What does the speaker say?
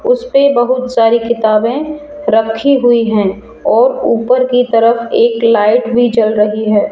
उस पे बहुत सारी किताबें रखी हुई हैं और ऊपर की तरफ एक लाइट भी जल रही है।